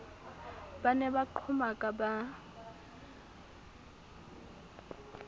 ba ne ba qhomaka ba